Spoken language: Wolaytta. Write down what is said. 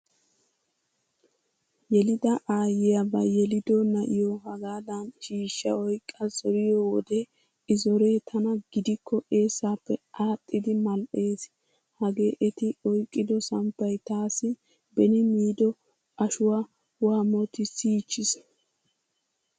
Yelida aayyiya ba yelido na'iyo hagaadan shiishsha oyqqa zoriyo wode i zoree tana gidikko eessaappe aaxxidi mal"eess. Hagee eti oyqqido samppay taassi beni miido ashuwaa waammotissiichchiis.